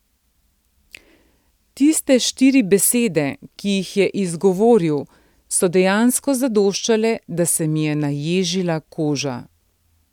Tiste štiri besede, ki jih je izgovoril, so dejansko zadoščale, da se mi je naježila koža.